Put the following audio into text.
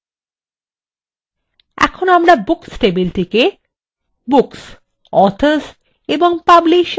এখন আমরা books tableটিকে books authors এবং publisher table ভাগ করেছি